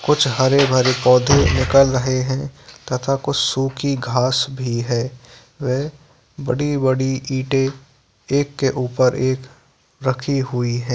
कुछ हरे-भरे पौधे निकल रहे हैं तथा कुछ सूखी घांस भी है व बड़ी-बड़ी इंटें एक के उपर एक रखी हुई है।